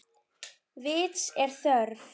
Vits er þörf